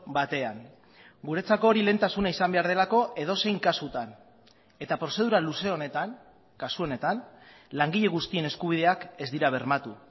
batean guretzako hori lehentasuna izan behar delako edozein kasutan eta prozedura luze honetan kasu honetan langile guztien eskubideak ez dira bermatu